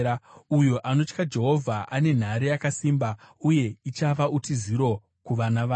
Uyo anotya Jehovha ane nhare yakasimba, uye ichava utiziro kuvana vake.